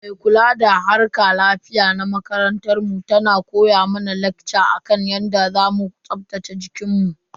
Mai kula da harkar lafiya ta makarantar mu tana mana lakca akan yadda zamu tsaftace jikinmu.